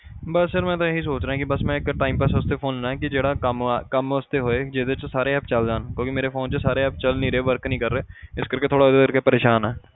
ਬਸ ਫਿਰ ਮੈਂ ਤਾਂ ਇਹੀ ਸੋਚ ਰਿਹਾਂ ਕਿ ਬਸ ਮੈਂ ਇੱਕ time pass ਵਾਸਤੇ phone ਲੈਣਾ ਕਿ ਜਿਹੜਾ ਕੰਮ ਕੰਮ ਵਾਸਤੇ ਹੋਏ ਜਿਹਦੇ 'ਚ ਸਾਰੇ app ਚੱਲ ਜਾਣ ਕਿਉਂਕਿ ਮੇਰੇ phone 'ਚ ਸਾਰੇ app ਚੱਲ ਨੀ ਰਹੇ work ਨੀ ਕਰ ਰਹੇ ਇਸ ਕਰਕੇ ਥੋੜ੍ਹਾ ਇਹਦੇ ਕਰਕੇ ਪਰੇਸਾਨ ਹਾਂ।